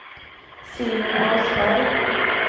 Simon Åsberg